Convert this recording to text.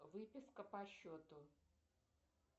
выписка по счету